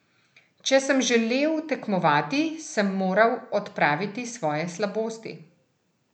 Če sem želel tekmovati, sem moral odpraviti svoje slabosti.